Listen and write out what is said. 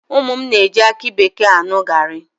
Ụmụ m na-eji aki bekee aṅụ gaarị.